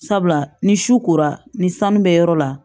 Sabula ni su kora ni sanu bɛ yɔrɔ la